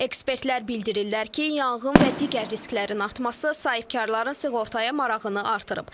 Ekspertlər bildirirlər ki, yanğın və digər risklərin artması sahibkarların sığortaya marağını artırıb.